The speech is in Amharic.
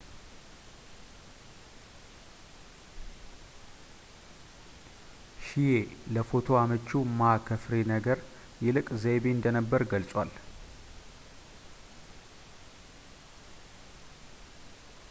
ሺዬ ለፎቶ አመቺው ማ ከፍሬ ነገር ይልቅ ዘይቤ እንደነበር ገልጸዋል